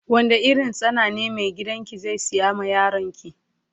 Wanda irin tsana ne mai gidan ki zai siya ma yaron ki.